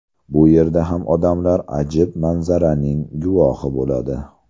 Bu yerda ham odamlar ajib manzaraning guvohi bo‘ladi.